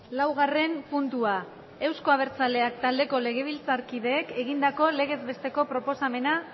laugarren puntua euzko abertzaleak taldeko legebiltzarkideek egindako legez besteko proposamena